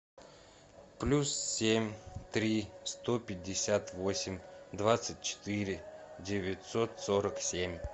плюс семь три сто пятьдесят восемь двадцать четыре девятьсот сорок семь